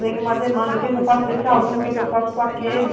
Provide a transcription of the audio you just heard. Vem uma demanda, que que eu faço com esse aluno, o que que eu faço com aquele?